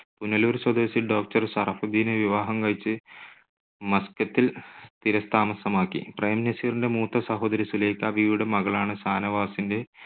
പുനലൂർ സ്വദേശി doctor ഷറഫുദ്ദീനെ വിവാഹം കഴിച്ച് മസ്കറ്റിൽ സ്ഥിരതാമസമാക്കി. പ്രേം നസീറിന്റെ മൂത്ത സഹോദരി സുലൈഖ ബീവിയുടെ മകളാണ് ഷാനവാസിന്റെ